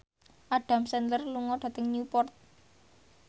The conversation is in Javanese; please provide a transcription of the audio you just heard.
Adam Sandler lunga dhateng Newport